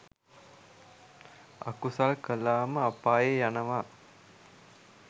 අකුසල් කලාම අපායේ යනවා